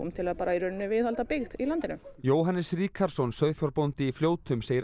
til að viðhalda byggð í landinu Jóhannes Ríkharðsson sauðfjárbóndi í Fljótum segir